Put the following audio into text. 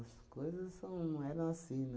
As coisas são eram assim, não.